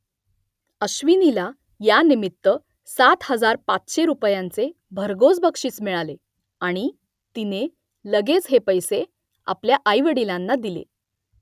अश्विनीला यानिमित्त सात हजार पाचशे रुपयांचे भरघोस बक्षीस मिळाले आणि तिने लगेच हे पैसे आपल्या आईवडिलांना दिले